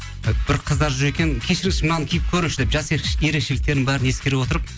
бір қыздар жүр екен кешіріңізші мынаны киіп көріңізші деп жас ерекшеліктерін бәрін ескере отырып